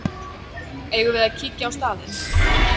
Eigum við að kíkja á staðinn?